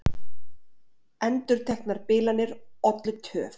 Endurteknar bilanir ollu töf